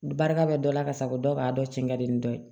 Barika bɛ dɔ la ka sago dɔw k'a dɔ cɛ ka di ni dɔ ye